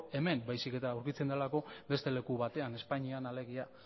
hemen baizik eta edukitzen delako beste leku batean espainian alegia